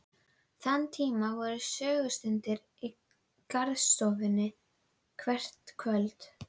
Þann tíma voru sögustundir í garðstofunni hvert kvöld.